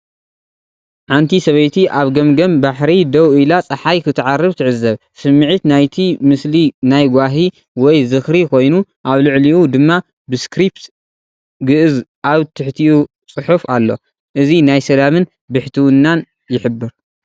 ሓንቲ ሰበይቲ ኣብ ገምገም ባሕሪ ደው ኢላ ጸሓይ ክትዓርብ ትዕዘብ። ስሚዒት ናይቲ ምስሊ ናይ ጓሂ ወይ ዝኽሪ ኮይኑ፡ ኣብ ልዕሊኡ ድማ ብስክሪፕት ግዕዝ ኣብ ትሕቲኡ ጽሑፍ ኣሎ። እዚ ናይ ሰላምን ብሕትውናን ይሕብር።